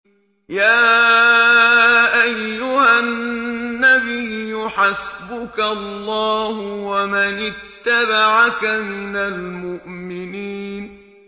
يَا أَيُّهَا النَّبِيُّ حَسْبُكَ اللَّهُ وَمَنِ اتَّبَعَكَ مِنَ الْمُؤْمِنِينَ